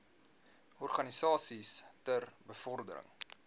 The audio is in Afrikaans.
organisasies ter bevordering